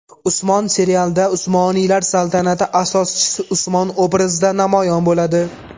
Usmon” serialida Usmoniylar saltanati asoschisi Usmon obrazida namoyon bo‘ladi.